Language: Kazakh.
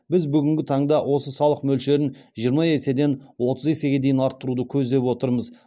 біз бүгінгі таңда осы салық мөлшерін жиырма еседен отыз есеге дейін арттыруды көздеп отырмыз